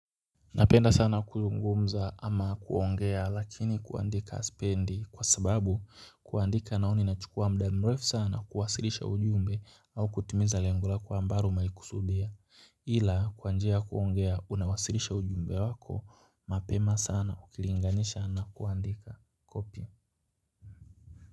Napenda sana kuzungumza ama kuongea lakini kuandika sipendi kwa sababu kuandika naona inachukua muda mrefu sana kuwasilisha ujumbe au kutimiza lengo lako ambalo umelikusudia ila kwa njia ya kuongea unawasilisha ujumbe wako mapema sana ukilinganisha na kuandika kopi.